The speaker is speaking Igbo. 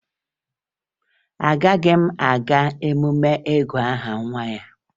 Agaghị m aga emume ịgụ aha nwa ya